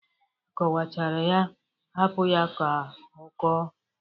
Akwọchara ya hapụ ya ka ọkọọ.